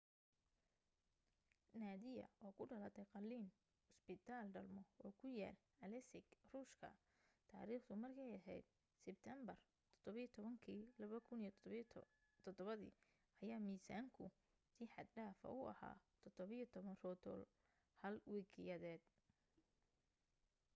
nadia oo ku dhalatay qalliin cusbitaal dhalmo oo ku yaal aleisk ruushka taariikhdu markay ahayd sibteenbar 17 2007 ayaa miisaanku si xad dhaafa u ahaa 17 rodol 1 wiqiyadeed